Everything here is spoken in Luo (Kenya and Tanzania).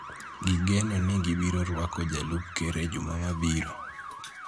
Gigeno ni gibiro rwako Jalup Ker e juma mabiro.